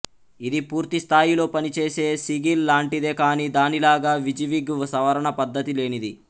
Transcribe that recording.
ఇది పూర్తి స్థాయిలో పనిచేసే సిగిల్ లాంటిదే కాని దానిలాగా విజీవిగ్ సవరణ పద్ధతి లేనిది